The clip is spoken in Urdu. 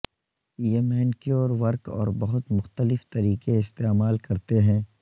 یہ مینیکیور ورق اور بہت مختلف طریقے استعمال کرتے ہیں